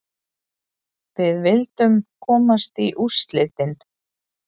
Við vildum komast í úrslitin.